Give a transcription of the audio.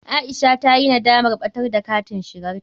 Aisha ta yi nadamar ɓada da katin shigarta.